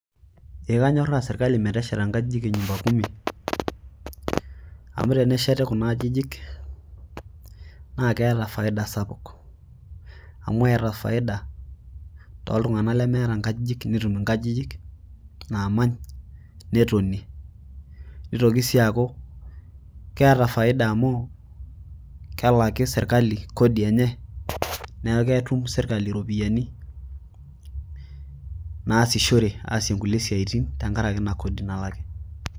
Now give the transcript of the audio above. Eee kanyoraaa serkali metesheta inkejijik e nyumba kumi amu tenesheti kuna aajijik naakeeta faida sapuk aku eeta faida to iltung'anak lemeeta inkajijik netum inkajijik naamany netonie neitoki sii aaku keeta faida amu kelaki serkali kodi enye neeku ketum serkali iropiyiani naashishore aasoe nkulie siatin tenkaraki ina kodi naary